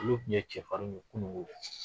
Olu kun ye cɛfarin ye kunun nko.